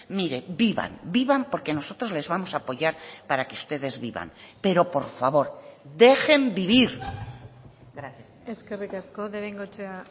mire vivan vivan porque nosotros les vamos a apoyar para que ustedes vivan pero por favor dejen vivir gracias eskerrik asko de bengoechea